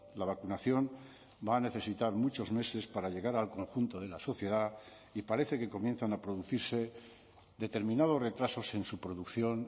la vacunación va a necesitar muchos meses para llegar al conjunto de la sociedad y parece que comienzan a producirse determinados retrasos en su producción